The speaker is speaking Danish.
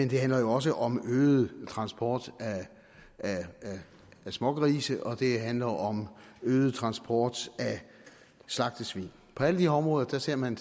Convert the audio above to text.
det handler jo også om øget transport af smågrise og det handler om øget transport af slagtesvin på alle de områder ser man